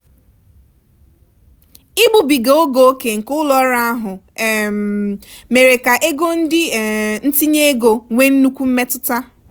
ịgbubiga oge ókè nke ụlọ ọrụ ahụ um mere ka ego ndị um ntinye ego nwee nnukwu mmetụta.